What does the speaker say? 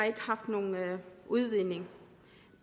ikke haft nogen udvinding